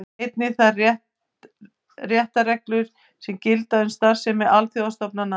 Einnig þær réttarreglur sem gilda um starfsemi alþjóðastofnana.